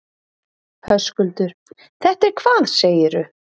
Höskuldur: Þetta er hvað segirðu?